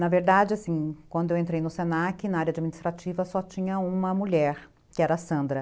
Na verdade, assim, quando eu entrei no se na que, na área administrativa só tinha uma mulher, que era a Sandra.